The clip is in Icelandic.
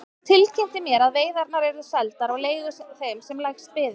Hann tilkynnti mér að veiðarnar yrðu seldar á leigu þeim sem lægst byði.